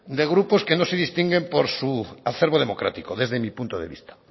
de grupos que no se distinguen por su acerbo democrático desde mi punto de vista